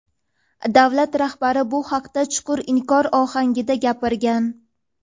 davlat rahbari bu haqda chuqur inkor ohangida gapirgan.